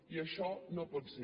i això no pot ser